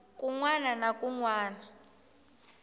kun wana na kun wana